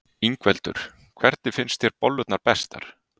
Ingveldur: Hvernig finnst þér bollurnar bestar?